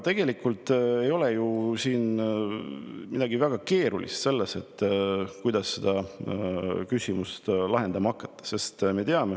Tegelikult ei ole ju midagi väga keerulist selles, kuidas seda küsimust lahendama hakata.